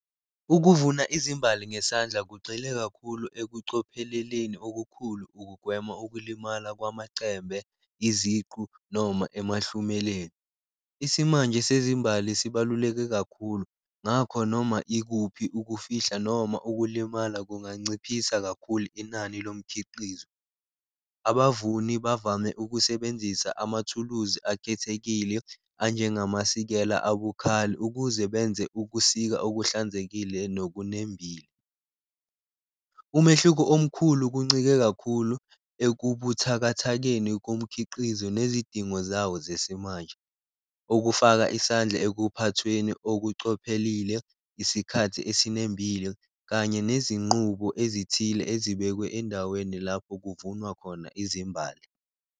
Ukuvuna izimbali ngesandla kugcwele kakhulu ekucopheleleni okukhulu ukugwema ukulimala kwamacembe, iziqu noma emahlumeleni, isimanje sezimbali sibaluleke kakhulu ngakho noma ikuphi ukufihla noma ukulimala kunganciphisa kakhulu inani lomkhiqizo. Abavuni bavame ukusebenzisa amathuluzi akhethekile anjengamasikela abukhali ukuze benze ukusika okuhlanzekile nokunembile, umehluko omkhulu kuncike kakhulu ekubuthakathakeni komkhiqizo nezidingo zawo zesimanje. Okufaka isandla ekuphathweni okucophelelile, isikhathi esinembile kanye nezinqubo ezithile ezibekwe endaweni lapho kuvunwa khona izimbali.